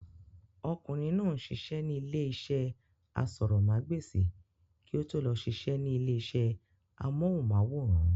Ọkùnrin náà ń sisẹ́ ní ilé iṣẹ́ asọ̀rọ̀mágbèsì kí ó tó lọ sisẹ́ ní ilé iṣẹ́ amóhùnmáwòrán